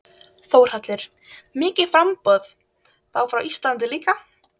Þórhallur: Mikið framboð, þá frá Íslandi líka?